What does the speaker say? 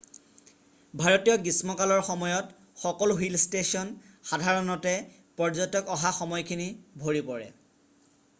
ভাৰতীয় গ্ৰীষ্মকালৰ সময়ত সকলো হিল ষ্টেচন সাধাৰণতে পৰ্যটক অহা সময়খিনি ভৰি পৰে